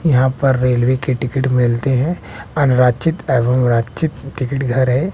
यहां पर रेलवे की टिकट मिलते हैं अनारक्षित एवं रक्षित टिकट घर है।